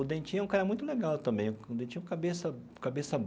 O Dentinho é um cara muito legal também, o Dentinho é cabeça cabeça.